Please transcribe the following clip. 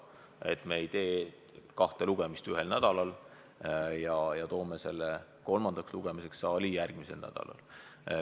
Seega, me ei tee kahte lugemist ühel nädalal ja toome selle kolmandaks lugemiseks saali järgmisel nädalal.